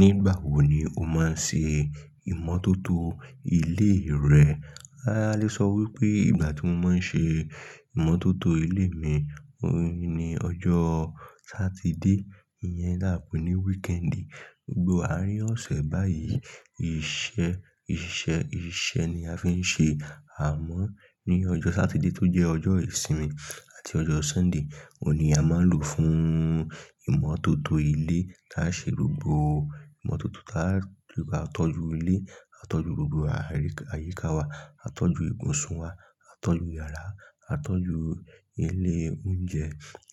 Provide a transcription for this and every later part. Nígbà wo ni o máa ń ṣe ìmọ́tótó ilé rẹ? A lè sọ wípé ìgbà tí mo máa ń ṣe ìmọ́tótó ilé mi ohun ni ọjọ́ Sátidé. Iyẹn la pè ní wíkẹ́ńdì. Gbogbo àárín ọ̀sẹ̀ báyìí, iṣẹ́, iṣẹ́, iṣẹ́ ni a fi ń ṣe. Àmọ́ ní ọjọ́ Sátidé tó jẹ́ ọjọ́ ìsinmi àti ọjọ́ Sunday, òun ni a máa ń lò fún ìmọ́tótó ilé tá a ṣe gbọgbọ. Ìmọ́tótó tá a rí, a tọ́jú ilé, a tọ́jú gbogbo àyíká wa, a tọ́jú ibùsùn wa, a tọ́jú yàrá, a tọ́jú ilé oúnjẹ,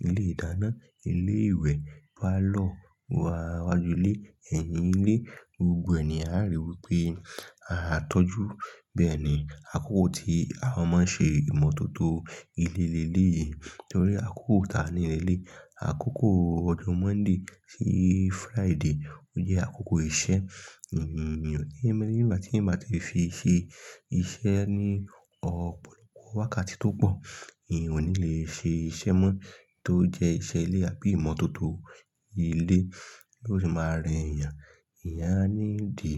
ilé ìdáná, ilé ìwẹ̀, pálọ̀, iwájú ilé, ẹ̀yìn ilé, gbogbo ẹ̀ ni a rí wípé a tọ́jú. Àyíká wa, a tọ́jú ibùsùn wa, a tọ́jú yàrá, a tọ́jú ilé oúnjẹ, ilé ìdáná, ilé ìwẹ̀, pálọ̀, iwájú ilé, ẹ̀yìn ilé, gbogbo ẹ̀ni a rí wípé a tọ́jú. Nítorí àkókò táa ni leléyi? Àkókò ọjọ́ Mọ́nday sí Friday ó jẹ́ àkókò iṣẹ́. Èmi, mi ò ní ẹni tí èmi bá ti fi ṣe iṣẹ́ ní ọ̀pọ̀lọpọ̀ wákàtí tó pọ̀. Eeyan ò ní le ṣe iṣẹ́ mọ́ tó jẹ́ iṣẹ́ ilé àbí ìmọ́tótó ilé. Yóò sì máa rẹ èèyàn. Eeyán a ní ìdí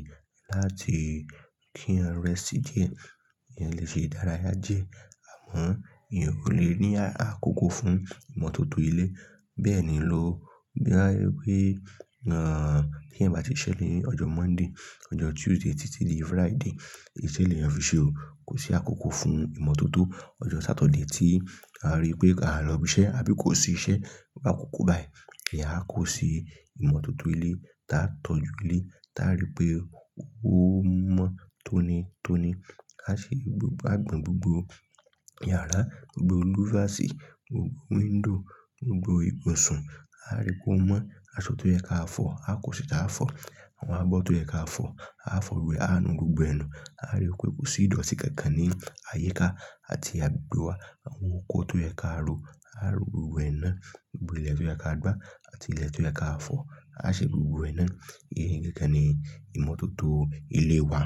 láti kí'yan rẹṣtì diẹ. Eẹyan lè ṣe ìdárayá diẹ. Àmọ́ ìyẹn ò lè ní àkókò fún ìmọ́tótó ilé. Bẹ́ẹ̀ ni ló bá wípé, ahhh, kí ẹ̀yan bá ti ṣẹ́ ni ọjọ́ Mọ́ndí, ọjọ́ Tuesday títí di Friday, iṣẹ́ léeyan fi ṣe o. Kò sí àkókò fún ìmọ́tótó. Ọjọ́ Sátọ̀dé tí a rí pé a lọ ibi iṣẹ́ àbí kò sí iṣẹ́, a kó àkókò báyìí. Eeyan á kò ṣi ìmọ́tótó ilé tá a tọ́jú ilé tá a rí pé ó mọ́ tónitoni. A ṣe gbogbo àgbọn, gbogbo yàrá, gbogbo Olúfàsì, gbogbo window, gbogbo ibùsùn. A rí pé ó mọ́ aṣọ tó yẹ ká fọ̀, a kò ṣita á fọ̀. Àwọn abọ́ tó yẹ ká fọ̀, a fọ̀ gbogbo ẹ, a nu gbogbo ẹnu. A rí pé kò sí ìdọ̀tí kankan ní àyíká àti àgbegbe wa. Àwọn oko tó yẹ ká ró, a ró gbogbo ẹ ná. Gbogbo ilẹ̀ tó yẹ ká gbá àti ilẹ̀ tó yẹ ká fọ̀, a ṣẹ̀ gbogbo ẹ ná. Èyí ni gangan ni ìmọ́tótó ilé wa.